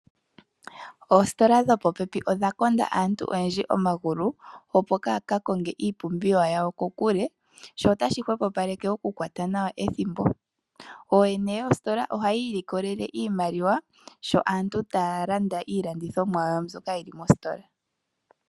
Oositola dhopopepi odha konda aantu oyendji omagulu, opo kaya ka konge iipumbiwa yawo kokule sho otashi hwepopaleke okukwata nawa ethimbo. Ooyene yoositola ohayi ilikolele iimaliwa sho aantu taya landa iilandithomwa yawo mbyoka yi li mositola.